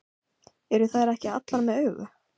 Eru þær ekki allar með augu?